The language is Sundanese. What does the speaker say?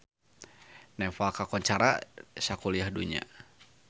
Nepal kakoncara sakuliah dunya